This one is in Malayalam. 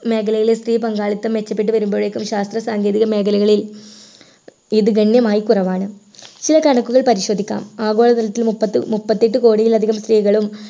മേഖലയിലെ സ്ത്രീ പങ്കാളിത്തം മെച്ചപ്പെട്ടു വരുമ്പോഴേക്കും ശാസ്ത്ര സാങ്കേതിക മേഖലകളിൽ ഇത് ഗണ്യമായി കുറവാണ് ചില കണക്കുകൾ പരിശോധിക്കാം ആഗോള തലത്തിൽ മുപ്പത്തി മുപ്പത്തെട്ട് കോടിയിലധികം സ്ത്രീകളും